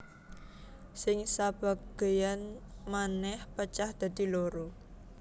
Sing sabagéyan manèh pecah dadi loro